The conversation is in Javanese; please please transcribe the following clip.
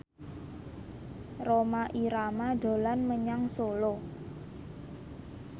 Rhoma Irama dolan menyang Solo